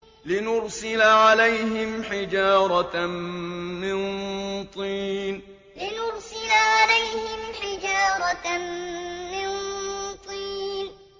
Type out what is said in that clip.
لِنُرْسِلَ عَلَيْهِمْ حِجَارَةً مِّن طِينٍ لِنُرْسِلَ عَلَيْهِمْ حِجَارَةً مِّن طِينٍ